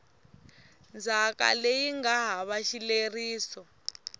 ndzhaka leyi nga hava xileriso